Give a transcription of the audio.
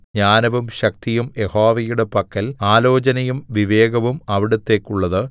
ജ്ഞാനവും ശക്തിയും യഹോവയുടെ പക്കൽ ആലോചനയും വിവേകവും അവിടുത്തേക്കുള്ളത്